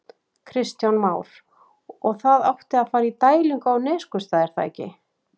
Kristján Már: Og það átti að fara í dælingu í Neskaupstað er það ekki?